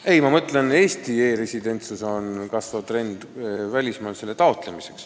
Ei, ma mõtlesin seda, et Eesti e-residentsuse taotlemine on kasvav trend välismaal.